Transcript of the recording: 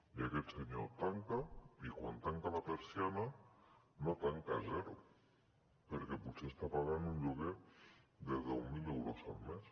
i aquest senyor tanca i quan tanca la persiana no tanca a zero perquè potser està pagant un lloguer de deu mil euros al mes